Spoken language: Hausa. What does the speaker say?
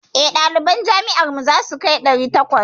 Eh, ɗaliban jami'ar mu zasu kai ɗari takwas.